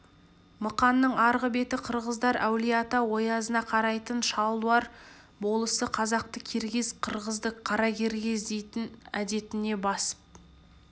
мықанның арғы беті қырғыздар әулие-ата оязына қарайтын шалдуар болысы қазақты киргиз қырғызды қаракиргиз дейтін әдетіне басып